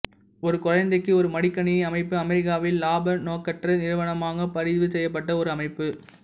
ஒரு குழந்தைக்கு ஒரு மடிக்கணி அமைப்பு அமெரிக்காவில் இலாப நோக்கற்ற நிறுவனமாகப் பதிவு செய்யப்பட்ட ஒரு அமைப்பு